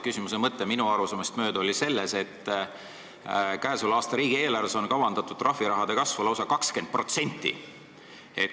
Küsimuse mõte oli minu arusaamist mööda selles, et käesoleva aasta riigieelarves on kavandatud trahviraha kasvuks lausa 20%.